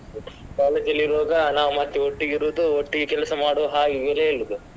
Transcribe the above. College ಅಲ್ಲಿ ಇರುವಾಗ ನಾವ್ ಮತ್ತೆ ಒಟ್ಟಿಗೆ ಇರುದು, ಒಟ್ಟಿಗೆ ಕೆಲಸ ಮಾಡುವಾ ಹಾಗೆ ಹೀಗೆ ಎಲ್ಲ ಹೇಳುದು.